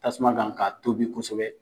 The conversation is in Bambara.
Tasuma kan k'a tobi kosɛbɛ.